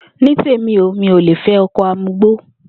Ní tèmi o, mi ò le fé̩ o̩ko̩ amugbó